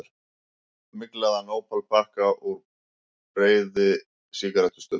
Myglaðan ópalpakka úr beði, sígarettustubb.